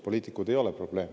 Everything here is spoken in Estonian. Poliitikud ei ole olnud probleem.